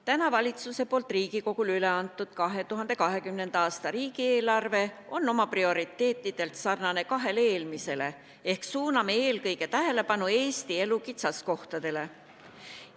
Täna valitsuse poolt Riigikogule üle antud 2020. aasta riigieelarve on oma prioriteetidelt sarnane kahe eelmisega ehk suuname tähelepanu eelkõige Eesti elu kitsaskohtadele.